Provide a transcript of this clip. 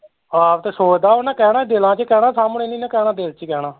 ਆਪ ਤੇ ਸੋਚਦਾ ਓਹਨਾਂ ਕਹਿਣਾ ਈ ਦਿਲਾਂ ਚ ਈ ਕਹਿਣਾ ਸਾਹਮਣੇ ਨੀ ਨਾ ਕਹਿਣਾ ਦਿਲ ਚ ਈ ਕਹਿਣਾ